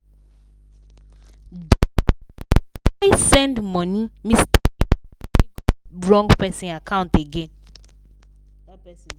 dem mistakenly send money mistakenly send money go wrong person account again.